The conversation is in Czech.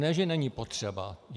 Ne že není potřeba.